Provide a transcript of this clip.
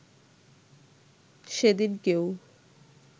সেদিন কেউ